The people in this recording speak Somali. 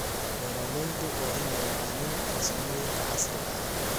Beeraleydu waa inay yaqaaniin farsamooyinka casriga ah.